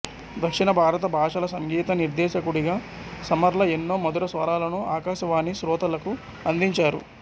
దక్షిణ భారత భాషల సంగీత నిర్దేశకుడిగా సుసర్ల ఎన్నో మధుర స్వరాలను ఆకాశవాణి శ్రోతలకు అందించారు